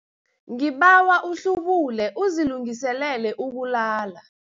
Ngibawa uhlubule uzilungiselele ukulala.